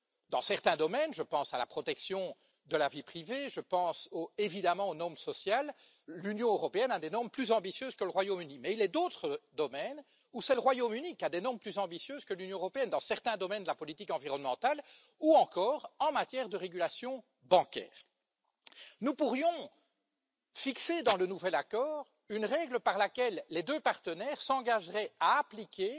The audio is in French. Dans certains domaines je pense à la protection de la vie privée, je pense évidemment aux normes sociales l'Union européenne a des normes plus ambitieuses que le Royaume Uni. Mais il est d'autres domaines où c'est le Royaume Uni qui a des normes plus ambitieuses que l'Union européenne pour certains aspects de la politique environnementale, ou encore en matière de régulation bancaire. Nous pourrions fixer dans le nouvel accord une règle par laquelle les deux partenaires s'engageraient à appliquer